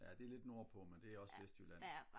ja det er lidt nord på men det er også vestjylland